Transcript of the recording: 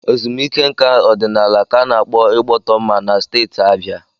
Ezumike nká ọdịnala ka a na-akpọ Igbọtọmma na Steeti Abia.